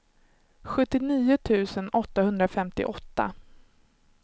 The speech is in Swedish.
sjuttionio tusen åttahundrafemtioåtta